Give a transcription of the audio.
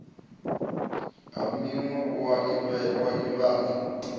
ha miwe a o ivhadza